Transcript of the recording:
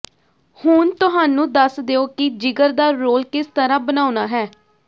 ਹੁਣ ਤੁਹਾਨੂੰ ਦੱਸ ਦਿਓ ਕਿ ਜਿਗਰ ਦਾ ਰੋਲ ਕਿਸ ਤਰ੍ਹਾਂ ਬਣਾਉਣਾ ਹੈ